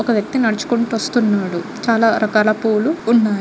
ఒక వ్యక్తి నడుచుకుంటూ వస్తున్నాడు చాలా రకాల పూలు ఉన్నాయి.